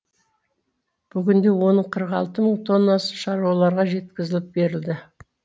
бүгінде оның қырық алты мың тоннасы шаруаларға жеткізіліп берілді